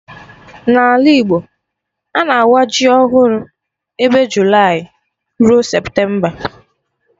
Na Ala Igbo, a na-awa ji ọhụrụ ebe Julayị rue Septemba